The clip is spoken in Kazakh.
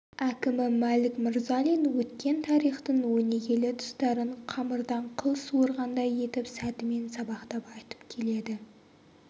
әкімі мәлік мырзалин өткен тарихтың өнегелі тұстарын қамырдан қыл суырғандай етіп сәтімен сабақтап айтып келеді